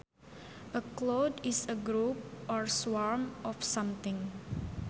A cloud is a group or swarm of something